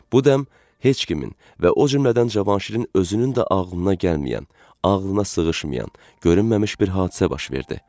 Bu dəm heç kimin və o cümlədən Cavanşirin özünün də ağlına gəlməyən, ağlına sığışmayan, görünməmiş bir hadisə baş verdi.